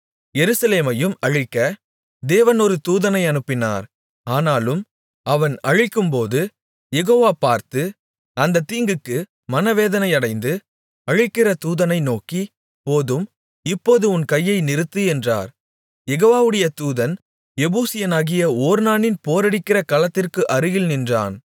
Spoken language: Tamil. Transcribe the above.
எருசலேமையும் அழிக்க தேவன் ஒரு தூதனை அனுப்பினார் ஆனாலும் அவன் அழிக்கும்போது யெகோவா பார்த்து அந்தத் தீங்குக்கு மனவேதனையடைந்து அழிக்கிற தூதனை நோக்கி போதும் இப்போது உன் கையை நிறுத்து என்றார் யெகோவாவுடைய தூதன் எபூசியனாகிய ஒர்னானின் போரடிக்கிற களத்திற்கு அருகில் நின்றான்